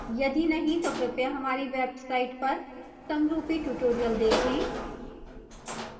यदि नहीं तो हमारी website पर समरूपी tutorials देखें